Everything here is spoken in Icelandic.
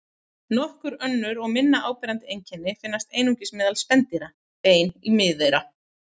Nokkur önnur og minna áberandi einkenni finnast einungis meðal spendýra: Bein í miðeyra.